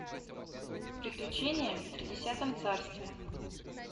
приключения в тридесятом царстве